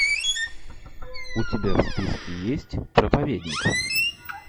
у тебя в списке есть проповедник